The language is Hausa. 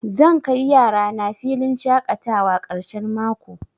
Zan kai yarana filin shaƙatawa ƙarshen mako.